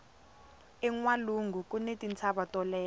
enwalungu kuni tintshava to leha